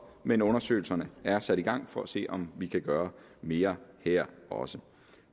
men undersøgelserne er sat i gang for at se om vi kan gøre mere her også